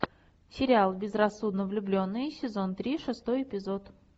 сериал безрассудно влюбленные сезон три шестой эпизод